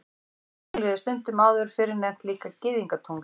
Páskatunglið var stundum áður fyrr líka nefnt Gyðingatungl.